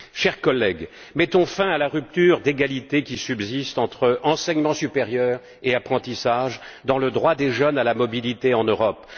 Chers collègues, mettons fin à la rupture d'égalité qui subsiste entre enseignement supérieur et apprentissage dans le droit des jeunes à la mobilité en Europe.